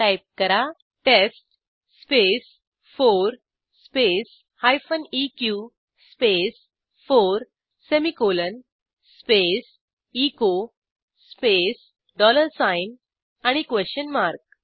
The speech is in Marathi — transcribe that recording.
टाईप करा टेस्ट स्पेस 4 स्पेस हायफेन इक space 4 semicolon space echo space dollar sign and a question mark